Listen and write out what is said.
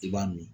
I b'a min